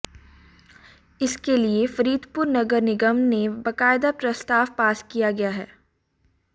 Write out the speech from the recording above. इसके लिए फरीदपुर नगर निगम ने बकायदा प्रस्ताव पास किया गया है